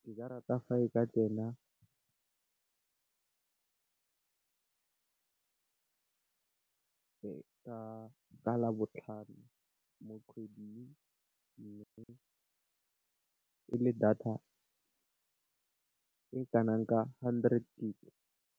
Ke ka rata fa e ka tsena ka Labotlhano mo kgweding. Mme, e le data e kana ka hundred gigabyte.